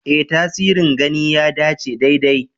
Ee, tasirin gani ya dace daidai.